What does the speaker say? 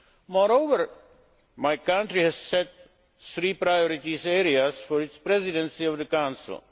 Moreover, my country has set three priority areas for its presidency of the Council.